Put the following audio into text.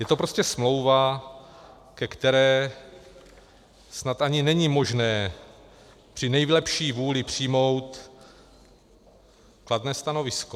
Je to prostě smlouva, ke které snad ani není možné při nejlepší vůli přijmout kladné stanovisko.